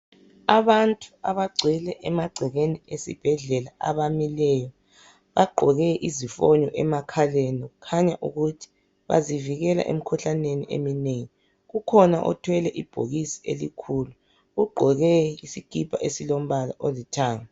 abantu abagcwele emagcekeni esibhedlela abamileyo bagqoke izifonyo emakhaleni kukhanya ukuthi bazivikela emkhuhlaneni eminengi kukhona othwele ibhokisi elikhulu ugqoke isikipa esilombala olithanga